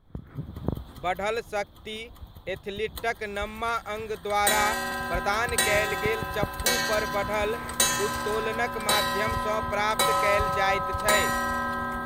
बढ़ल शक्ति एथलीटक नम्मा अङ्ग द्वारा प्रदान कयल गेल चप्पूपर बढ़ल उत्तोलनक माध्यमसँ प्राप्त कयल जाइत छै।